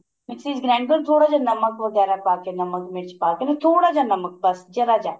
mixie ਚ grind ਕਰੋ ਥੋੜਾ ਜਾ ਨਮਕ ਵਗੈਰਾ ਪਾ ਕੇ ਨਮਕ ਮਿਰਚ ਪਾ ਕੇ ਥੋੜਾ ਜਾ ਨਮਕ ਬੱਸ ਜ਼ਰਾ ਜਾ